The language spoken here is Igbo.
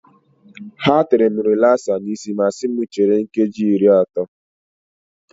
Ha tere m rilasa n'isi ma si m chere nkeji iri atọ.